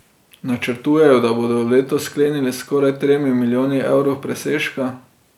Načrtujejo, da bodo leto sklenili s skoraj tremi milijoni evrov presežka.